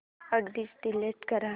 address delete कर